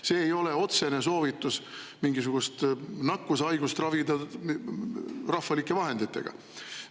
See ei ole otsene soovitus mingisugust nakkushaigust ravida rahvalike vahenditega.